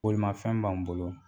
Bolimafɛn b'an bolo